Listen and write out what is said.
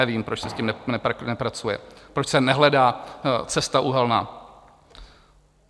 Nevím, proč se s tím nepracuje, proč se nehledá cesta uhelná.